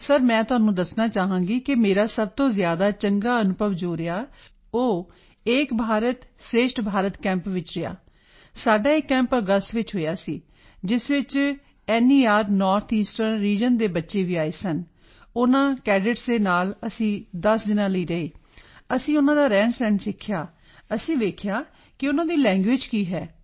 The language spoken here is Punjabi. ਸਰ ਮੈਂ ਤੁਹਾਨੂੰ ਦੱਸਣਾ ਚਾਹਾਂਗੀ ਮੇਰਾ ਸਭ ਤੋਂ ਜ਼ਿਆਦਾ ਚੰਗਾ ਅਨੁਭਵ ਜੋ ਰਿਹਾ ਉਹ ਏਕ ਭਾਰਤ ਸ਼੍ਰੇਸ਼ਠ ਭਾਰਤ ਕੈਂਪ ਵਿੱਚ ਰਿਹਾ ਸੀ ਸਾਡਾ ਇਹ ਕੈਂਪ ਅਗਸਤ ਚ ਹੋਇਆ ਸੀ ਜਿਸ ਵਿੱਚ nerਨੌਰਥ ਈਸਟਰਨ ਰੀਜਨ ਦੇ ਬੱਚੇ ਵੀ ਆਏ ਸਨ ਉਨ੍ਹਾਂ ਕੈਡੇਟਸ ਦੇ ਨਾਲ ਅਸੀਂ 10 ਦਿਨਾਂ ਲਈ ਰਹੇ ਅਸੀਂ ਉਨ੍ਹਾਂ ਦਾ ਰਹਿਣਸਹਿਣ ਸਿੱਖਿਆ ਅਸੀਂ ਵੇਖਿਆ ਕਿ ਉਨ੍ਹਾਂ ਦੀ ਲੈਂਗੁਏਜ ਕੀ ਹੈ